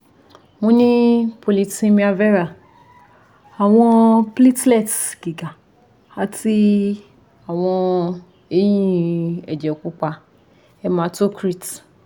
mo ni polycythemia vera awọn platelets giga ati awọn eyin ẹjẹ pupa hematocrit